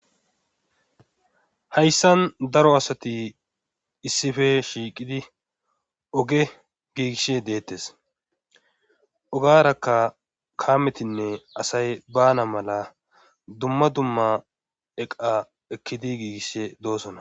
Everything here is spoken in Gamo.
Hayssan daro asati issife shiiqidi oge giigishe deettes ogarakka kaametinne asay bana mala dumma dumma eqa ekkidi giigishe doosona.